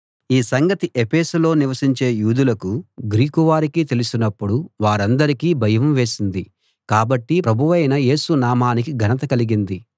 ఈ సంగతి ఎఫెసులో నివసించే యూదులకు గ్రీకువారికి తెలిసినప్పుడు వారందరికీ భయం వేసింది కాబట్టి ప్రభువైన యేసు నామానికి ఘనత కలిగింది